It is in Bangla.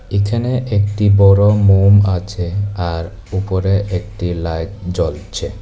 এখানে একটি বড় মোম আছে আর উপরে একটি লাইট জ্বলছে।